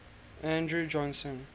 andrew johnson